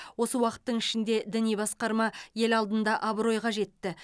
осы уақыттың ішінде діни басқарма ел алдында абыройға жетті